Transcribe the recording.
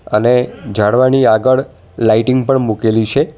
અને જાળવાની આગળ લાઇટિંગ પણ મૂકેલી છે.